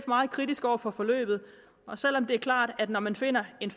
meget kritiske over for forløbet og selv om det er klart at når man finder en